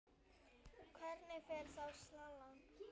Hvernig fer þá salan?